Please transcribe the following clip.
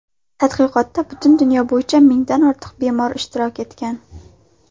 Tadqiqotda butun dunyo bo‘yicha mingdan ortiq bemor ishtirok etgan.